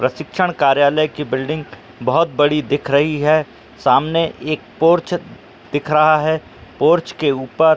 प्रशिक्षण कार्यालय की बिल्डिंग बोहोत बड़ी दिख रही है। सामने एक पोर्च दिख रहा है। पोर्च के ऊपर --